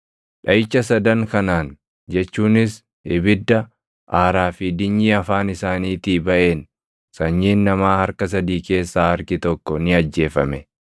Dhaʼicha sadan kanaan jechuunis ibidda, aaraa fi dinyii afaan isaaniitii baʼeen sanyiin namaa harka sadii keessaa harki tokko ni ajjeefame.